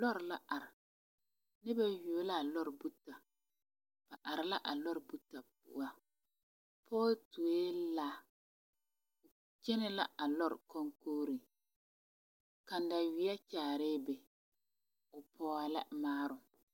Lɔr are ba yuo la a lɔri buti bare ba are la a lɔri buti pare pɔge tuoe laa kyɛnɛ la a lɔr koŋkoŋre kataweɛ kyaarɛɛ be o pɔg la maaruŋ.